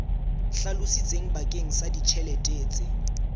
hlalositsweng bakeng sa ditjhelete tse